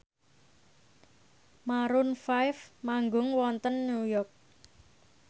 Maroon 5 manggung wonten New York